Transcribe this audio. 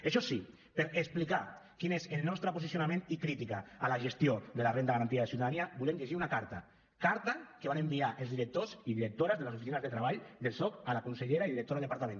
això sí per explicar quin és el nostre posicionament i crítica a la gestió de la renda garantida de ciutadania volem llegir una carta carta que van enviar els directors i directores de les oficines de treball del soc a la consellera i directora del departament